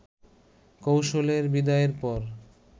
কৌশলের বিদায়ের পর